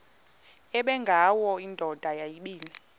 ubengwayo indoda yayibile